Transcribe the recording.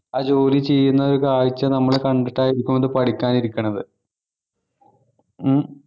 ആ ജോലി ചെയ്യുന്ന ഒരു കാഴ്ച നമ്മൾ കണ്ടിട്ടായിരിക്കും അത് പഠിക്കാനിരിക്കണത് ഉം